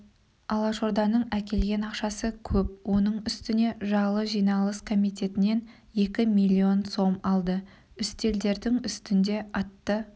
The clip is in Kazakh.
алашорданың әкелген ақшасы көп оның үстіне жалы жиналыс комитетінен екі миллион сом алды үстелдерінің үстінде атты